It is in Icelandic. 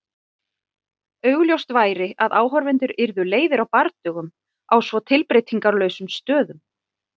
Augljóst væri að áhorfendur yrðu leiðir á bardögum á svo tilbreytingarlausum stöðum.